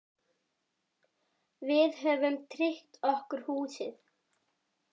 Við höfum tryggt okkur húsið.